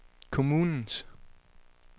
kommunens